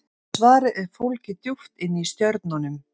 Svarið er fólgið djúpt inni í stjörnunum.